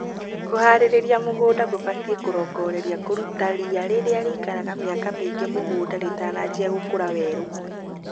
Kũharĩria mũgũnda gũbatie kũrongorerie kũruta riia rĩrĩa rĩikaraga mĩaka mĩingĩ mũgũnda rĩtanajia gũkũra weru.